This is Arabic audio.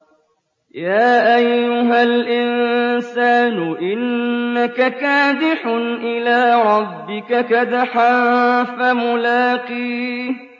يَا أَيُّهَا الْإِنسَانُ إِنَّكَ كَادِحٌ إِلَىٰ رَبِّكَ كَدْحًا فَمُلَاقِيهِ